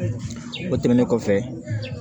O tɛmɛnen kɔfɛ